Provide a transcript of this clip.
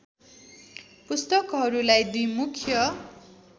पुस्तकहरूलाई दुई मुख्य